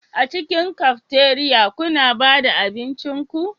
A cikin cafeteria kuna ba da abincin ku